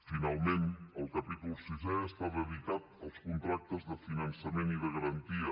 finalment el capítol sisè està dedicat als contractes de finançament i de garantia